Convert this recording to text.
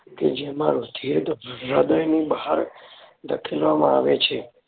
કે જેમાં રુધિર હૃદયની બહાર ધકેલવામાં આવે છે.